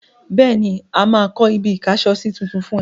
Bẹ́ẹ̀ni, mà á kọ́ ibi-ìkásọsí tuntun fún ẹ.